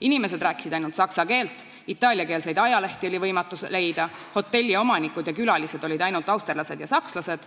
Inimesed rääkisid ainult saksa keelt, itaaliakeelseid ajalehti oli võimatu leida, hotelliomanikud ja -külalised olid ainult austerlased ja sakslased,